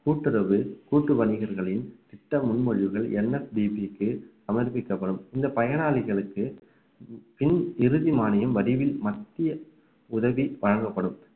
கூட்டுறவு கூட்டு வணிகர்களின் திட்ட முன்மொழிவுகள் NFDP க்கு சமர்ப்பிக்கப்படும் இந்த பயனாளிகளுக்கு பின் இறுதி மானியம் வடிவில் மத்திய உதவி வழங்கப்படும்